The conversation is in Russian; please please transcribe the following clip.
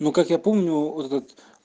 ну как я помню этот